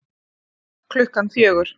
Klukkan fjögur